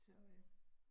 Så øh